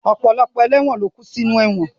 Ọ̀pọ̀lọpọ̀ ẹlẹ́won ló kú sinú ẹ̀wọ̀n